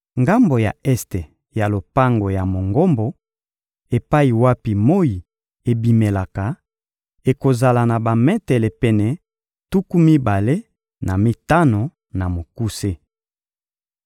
Ngambo ya este ya lopango ya Mongombo, epai wapi moyi ebimelaka, ekozala na bametele pene tuku mibale na mitano na mokuse.